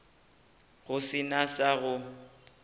go se na sa go